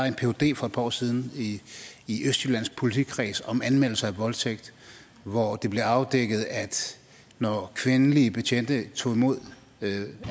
en phd for et par år siden i i østjyllands politikreds om anmeldelser af voldtægt hvor det blev afdækket at når kvindelige betjente tog imod